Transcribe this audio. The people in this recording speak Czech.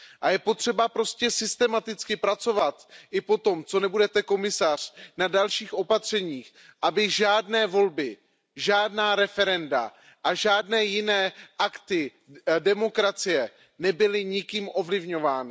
Je potřeba pracovat systematicky i potom, co nebudete komisařem, na dalších opatřeních, aby žádné volby, žádná referenda a žádné jiné akty demokracie nebyly nikým ovlivňovány.